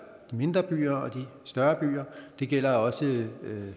de mindre byer og de større byer og det gælder også